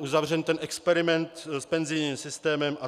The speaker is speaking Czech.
uzavřen ten experiment s penzijním systémem atd.